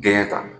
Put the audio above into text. Denkɛ ta